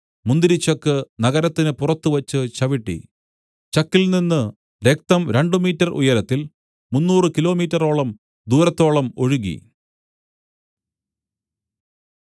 മുന്തിരിച്ചക്ക് നഗരത്തിന് പുറത്തുവച്ച് ചവിട്ടി ചക്കിൽനിന്ന് രക്തം രണ്ടു മീറ്റര്‍ ഉയരത്തില്‍ മുന്നൂറ് കിലോമീറ്ററോളം ദൂരത്തോളം ഒഴുകി